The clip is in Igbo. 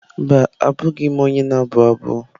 Mba, abụghị m onye na-abụ abụ.